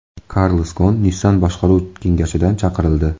Karlos Gon Nissan boshqaruv kengashidan chiqarildi.